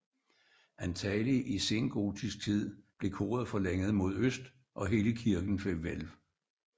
Antagelig i sengotisk tid blev koret forlænget mod øst og hele kirken fik hvælv